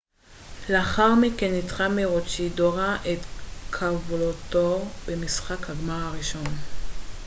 לאחר מכן ניצחה מרוצ'ידורה את קאבולטור במשחק הגמר הראשון